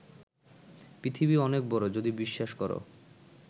পৃথিবী অনেক বড় যদি বিশ্বাস কর